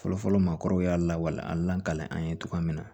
Fɔlɔfɔlɔ maakɔrɔw y'a lawale a lakalen an ye cogoya min na